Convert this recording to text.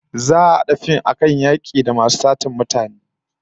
Za'a a hada fim akan yaki da masu satar mutane